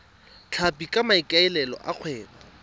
tlhapi ka maikaelelo a kgwebo